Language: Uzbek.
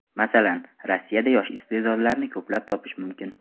Masalan, Rossiyada yosh iste’dodlarni ko‘plab topish mumkin.